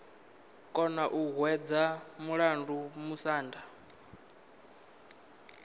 kona u hwedza mulandu musanda